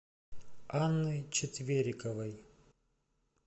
анны четвериковой